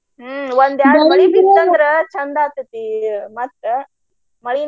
ಹ್ಮ ಒಂದ್ ಎರಡ್ ಮಳಿ ಬಿತ್ತ ಅಂದ್ರ ಚಂದ ಆಗ್ತೆತಿ ಮತ್ತ ಮಳಿನ.